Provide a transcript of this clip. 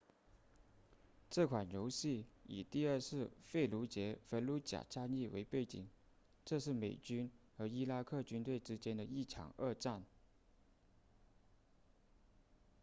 这款游戏以第二次费卢杰 fallujah 战役为背景这是美军和伊拉克军队之间的一场恶战